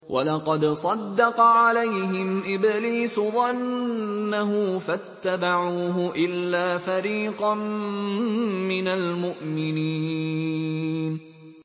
وَلَقَدْ صَدَّقَ عَلَيْهِمْ إِبْلِيسُ ظَنَّهُ فَاتَّبَعُوهُ إِلَّا فَرِيقًا مِّنَ الْمُؤْمِنِينَ